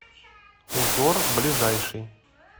узор ближайший